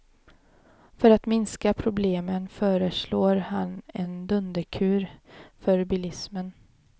För att minska problemen föreslår han en dunderkur för bilismen.